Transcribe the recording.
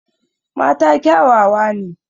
Mata kyawawa ne.